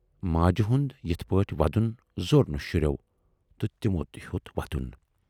ماجہِ ہُند یِتھٕ پٲٹھۍ ودُن زور نہٕ شُرٮ۪و تہٕ تِمو تہِ ہیوت ودُن۔